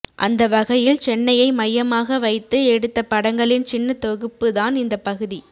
அந்த வகையில் சென்னையை மைய்யமாக வைத்து எடுத்த படங்களின் சின்ன தொகுப்பு தான் இந்த பகுதி